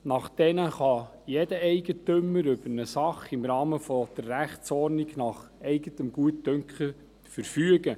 Nach diesen kann jeder Eigentümer über eine Sache im Rahmen der Rechtsordnung nach eigenem Gutdünken verfügen.